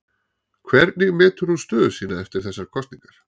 Hvernig metur hún stöðu sína eftir þessar kosningar?